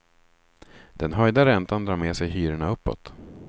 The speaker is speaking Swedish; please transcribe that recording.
Den höjda räntan drar med sig hyrorna uppåt.